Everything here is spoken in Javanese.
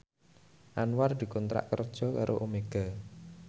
Anwar dikontrak kerja karo Omega